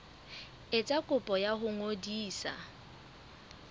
etsa kopo ya ho ngodisa